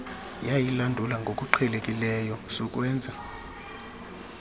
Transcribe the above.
yayilandula ngokuqhelekileyo sukwenza